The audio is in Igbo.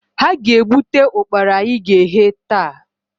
Ha ga-egbute ụkpara anyị ga-eghe, taa